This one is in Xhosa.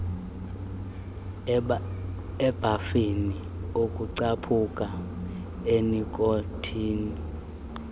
ebhafini ukucaphuka enikhothini